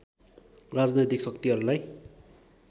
राजनैतिक शक्तिहरूलाई